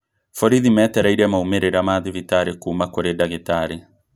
Borithi metereire maumĩrĩra ma thibitarĩ kũũma kũrĩ ndagĩtarĩ